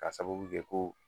Ka sababu kɛ ko